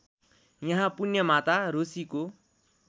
यहाँ पुण्यमाता रोशीको